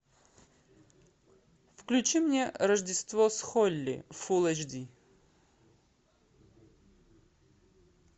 включи мне рождество с холли фулл эйч ди